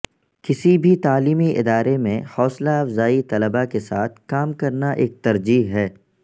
کسی بھی تعلیمی ادارے میں حوصلہ افزائی طلباء کے ساتھ کام کرنا ایک ترجیح ہے